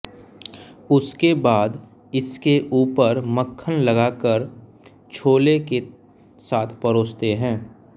उसके बाद इसके ऊपर मक्खन लगा कर छोले के साथ परोसते हैं